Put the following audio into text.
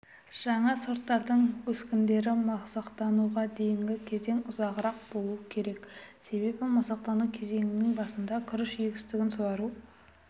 жаңа сорттардың өскіндерден масақтануға дейінгі кезеңі ұзағырақ болуы керек себебі масақтану кезеңінің басында күріш егістігін суару